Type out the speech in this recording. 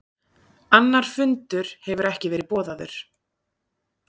Annar fundur hefur ekki verið boðaður